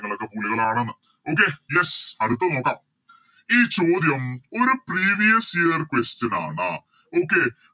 നിങ്ങളൊക്കെ പുലികളാണ്ന്ന് Okay yes അടുത്ത നോക്കാം ഈ ചോദ്യം ഒരു Previous year question ആണ് Okay